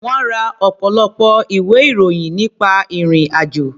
Wọ́n ra ọ̀pọ̀lọpọ̀ ìwé-ìròyìn nípa ìrì-àjò.